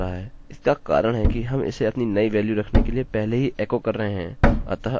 इसका कारण है कि हम इसे अपनी नई वेल्यू रखने से पहले ही एकोecho कर रहे हैं